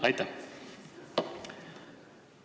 Aitäh!